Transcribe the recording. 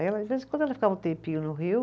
Aí ela, de vez em quando ela ficava um tempinho no Rio